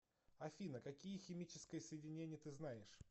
афина какие химическое соединение ты знаешь